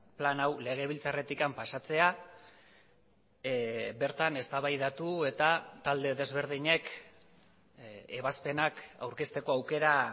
plan hau legebiltzarretik pasatzea bertan eztabaidatu eta talde desberdinek ebazpenak aurkezteko aukera